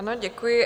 Ano, děkuji.